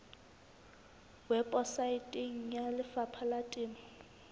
weposaeteng ya lefapha la temo